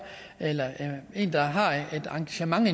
eller en der har et engagement i